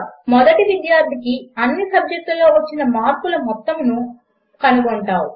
మొదటి విద్యార్థికి అన్ని సబ్జెక్టులలో వచ్చిన మార్కుల మొత్తమును ఎలా కనుగొంటావు